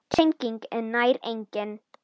Teygnin er nær engin.